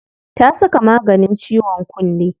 Ta saka maganin ciwon kunne.